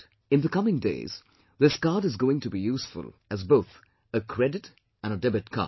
In the coming days this card is going to be useful as both a credit and a debit card